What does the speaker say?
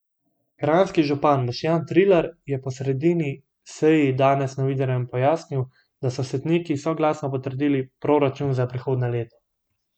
Kranjski župan Boštjan Trilar je po sredini seji danes novinarjem pojasnil, da so svetniki soglasno potrdili proračun za prihodnje leto.